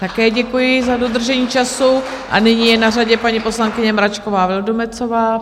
Také děkuji za dodržení času a nyní je na řadě paní poslankyně Mračková Vildumetzová.